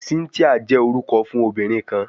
Cynthia jẹ orukọ fun obinrin kan